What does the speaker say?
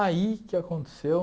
Aí, o que aconteceu?